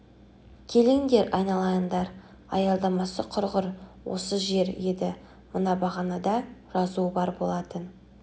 келіңдер айналайыңдар аялдамасы құрғыр осы жер еді мына бағанада жазуы бар болатын